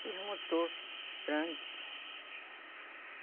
Precisa de um motor grande.